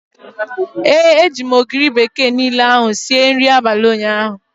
ee, eji m Maggi niile ahu sie nri abalị ụnyaahụ